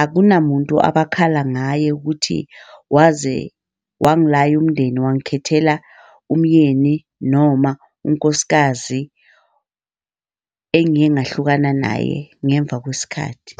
akunamuntu abakhala ngaye ukuthi waze wangilaya umndeni wangikhethela umyeni noma unkosikazi engiye ngahlukana naye ngemva kwesikhathi.